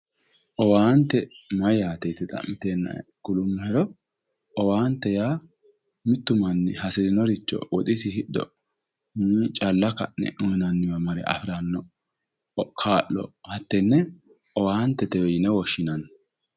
Owaante mayyaate yite xa'miteenna kulummohero. Owaante yaa mittu manni hasirinoricho woxisii hidho, calla ka'ne uuyinanniwa mare afiranno kaa'lo hattene owaantetewe yine woshshinanni.